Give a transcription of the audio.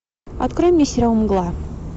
открой мне сериал мгла